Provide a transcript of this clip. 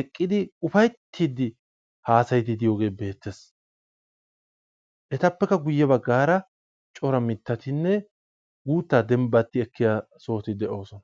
eqqidi ufayttiiddi haasayiiddi diyogee beettes. Etappekka guyye baggaara cora mittatinne guuttaa dembbatti ekkiya sohoti de"oosona.